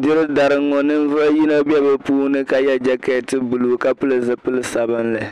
diri dari ŋɔ ninvuɣ' yino be bɛ puuni ka ye jɛkeeti buluu ka pili zipil' sabinli